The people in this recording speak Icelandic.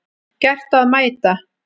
Gert að mæta